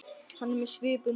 Hann er með svipu núna.